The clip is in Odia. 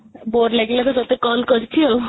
bore ଲାଗିଲା ତ ତୋତେ call କରିଛି ଆଉ